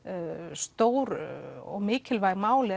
stór og mikilvæg mál